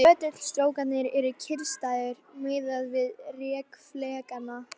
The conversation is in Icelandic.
Möttulstrókarnir eru kyrrstæðir miðað við rek flekanna.